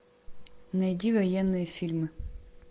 найди военные фильмы